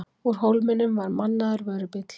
Úr Hólminum var mannaður vörubíll.